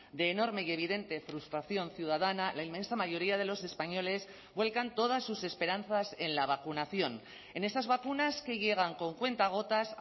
de enorme y evidente frustración ciudadana la inmensa mayoría de los españoles vuelcan todas sus esperanzas en la vacunación en esas vacunas que llegan con cuentagotas